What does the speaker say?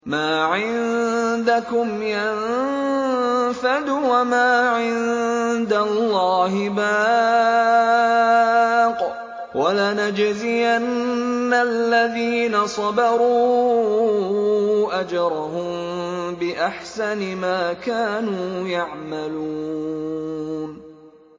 مَا عِندَكُمْ يَنفَدُ ۖ وَمَا عِندَ اللَّهِ بَاقٍ ۗ وَلَنَجْزِيَنَّ الَّذِينَ صَبَرُوا أَجْرَهُم بِأَحْسَنِ مَا كَانُوا يَعْمَلُونَ